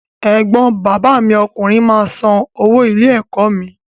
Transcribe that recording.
Ẹ̀gbọ́n bàbá mi ọkùnrin máa san owó ilé-ẹ̀kọ́ mi.